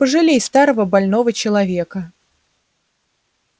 пожалей старого больного человека